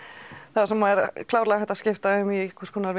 það svona er klárlega hægt að skipta þeim í einhvers konar